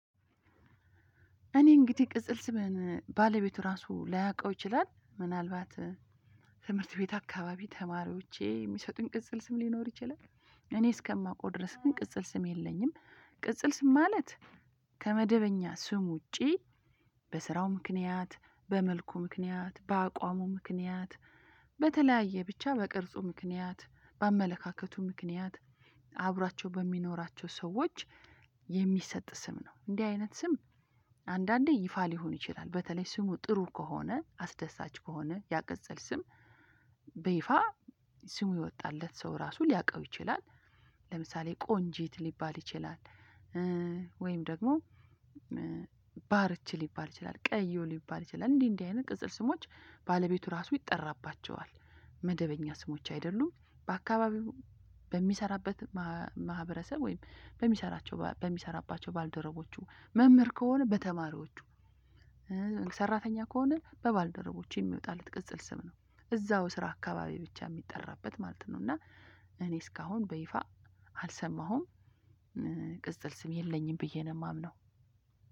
እኔ እንግዲህ ቅጽል ስሜን ባለቤቴ ራሱ ላያውቀው ይችላል። ምናልባት ትምህርት ቤት አካባቢ ተማሪዎቼ የሚሰጡኝ ቅጽል ስም ሊኖር ይችላል። እኔ እስከማውቀው ድረስ ግን ቅጽል ስም የለኝም። ቅጽል ስም ማለት ከመደበኛ ስም ውጪ በስራው ምክንያት፣ በመልኩ ምክንያት፣ በአቋሙ ምክንያት፣ በተለያየ ብቻ በቅርጹ ምክንያት፣ በአመለካከቱ ምክንያት አብሯቸው በሚኖራቸው ሰዎች የሚሰጥ ስም ነው። እንዲህ አይነት ስም አንዳንዴ ይፋ ሊሆን ይችላል። በተለይ ስሙ ጥሩ ከሆነ፣ አስደሳች ከሆነ ያቀጸል ስም በይፋ ስሙ የወጣለት ሰው ራሱ ሊያውቀው ይችላል። ለምሳሌ ቆንጆት ሊባል ይችላል ወይም ደግሞ ባርች ሊባል ይችላል፣ ቀዮ ሊባል ይችላል። እንዲህ እንዲህ አይነት ቅጽል ስሞች ባለቤቱ ራሱ ይጠራባቸዋል። መደበኛ ስሞች አይደሉም። በአካባቢው በሚሰራበት ማህበረሰብ ወይም በሚሰራቸው በሚሰራባቸው ባልደረቦቹ መምህር ከሆነ በተማሪዎቹ ሰራተኛ ከሆነ ባልደረቦቹ የሚወጣለት ቅጽል ስም ነው። እዛው ስራ አካባቢ ብቻ የሚጠራበት ማለት ነው። እና እኔ እስካሁን በይፋ አልሰማሁም። ስም የለኝም ብዬ ነው የማምነው።